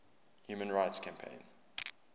human rights campaign